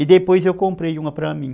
E depois eu comprei uma para mim.